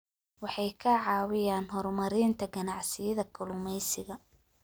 Waxay ka caawiyaan horumarinta ganacsiyada kalluumeysiga.